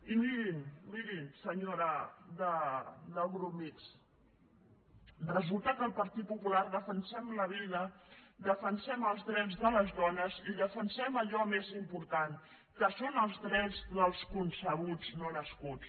i mirin miri senyora del grup mixt resulta que al partit popular defensem la vida defensem els drets de les dones i defensem allò més important que són els drets dels concebuts no nascuts